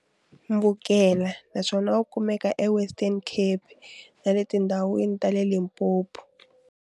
Mbukela naswona wu kumeka eWestern Cape na le tindhawini ta le Limpopo.